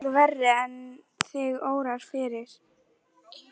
Hann er miklu veikari en þig órar fyrir.